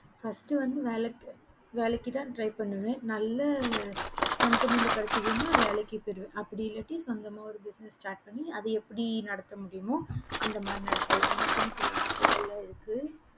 first வந்து வேலைக்கு தான் try பண்ணுவேன் நல்ல company கெடைச்சுதுன்ன வேலைக்கு போய்டுவேன் அப்படி இல்லாட்டி சொந்தமா ஒரு business start பண்ணி அத எப்படி நடத்த முடியுமோ அந்த மாறி நடத்துவேன் எனக்குன்னு சில ஆசைகள் இருக்கு